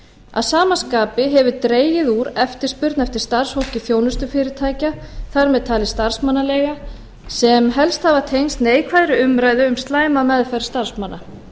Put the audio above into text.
að sama skapi hefur dregið úr eftirspurn eftir starfsfólki þjónustufyrirtækja þar með talin starfsmannaleigna sem helst hafa tengst neikvæðri umræðu um slæma meðferð starfsmanna